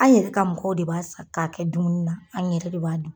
An yɛrɛ ka mɔgɔw de b'a sa k'a kɛ dumuni na an yɛrɛ de b'a dun.